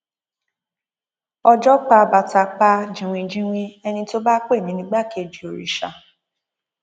ọjọ pa bàtà pa jìnwìnjinwín ẹni tó bá pè mí nígbàkejì òrìṣà